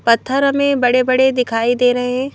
पत्थर हमें बड़े-बड़े दिखाई दे रहे हैं।